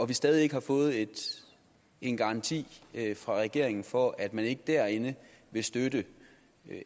vi stadig ikke har fået en garanti fra regeringen for at man ikke derinde vil støtte